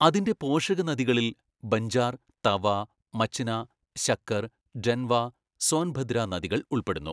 അതിന്റെ പോഷകനദികളിൽ ബഞ്ചാർ, തവ, മച്ന, ശക്കർ, ഡെൻവ, സോൻഭദ്ര നദികൾ ഉൾപ്പെടുന്നു.